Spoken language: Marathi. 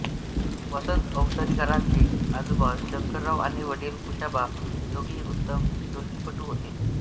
वसंत अवसरीकरांचे आजोबा शंकरराव आणि वडील कुशाबा हे दोघेही उत्तम ढोलकीपटू होते